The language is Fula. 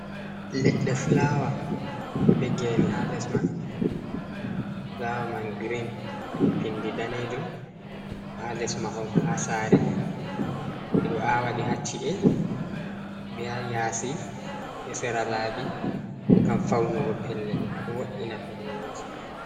ledde fulawa ,be gene ha lesman ,fulawa man green ,wadi pindi danejum, do ha les mahol ha sare, be do awadi hacci’e ,be ha yasi, be sera labi, ngam faunugo pellel ,do wo’ina pellel masin.